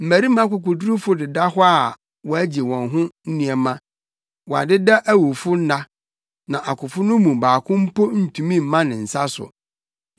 Mmarima akokodurufo deda hɔ a wɔagye wɔn ho nneɛma, wɔadeda awufo nna; na akofo no mu baako mpo ntumi mma ne nsa so.